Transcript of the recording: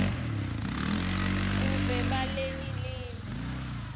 buve balelinye live